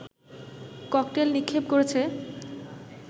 cocktail নিক্ষেপ করেছে